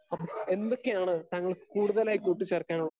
speaker 2 എന്തൊക്കെയാണ് താങ്കൾ കൂടുതലായി കൂട്ടിച്ചേർക്കാന്